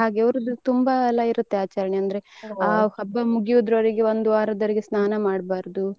ಹಾಗೆ ಅವರದ್ದು ತುಂಬಾ ಎಲ್ಲ ಇರುತ್ತೆ ಆಚರಣೆ ಅಂದ್ರೆ ಆ ಹಬ್ಬ ಮುಗಿಯುವರೆಗೆ ಒಂದು ವಾರ ಸ್ನಾನ ಮಾಡ್ಬಾರದು.